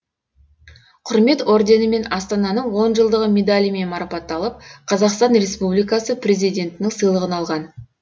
құрмет орденімен астананың он жылдығы медалімен марапатталып қазақстан республикасы президентінің сыйлығын алған